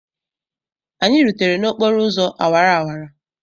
Anyị rutere n'okporo ụzọ awara awara.